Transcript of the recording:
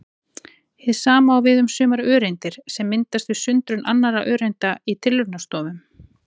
Hið sama á við um sumar öreindir sem myndast við sundrun annarra öreinda í tilraunastofum.